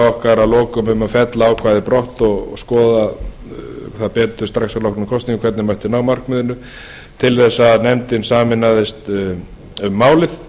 okkar að lokum um að fella ákvæðið brott og skoða það betur strax að loknum kosningum hvernig mætti ná markmiðinu til þess að nefndin sameinaðist um málið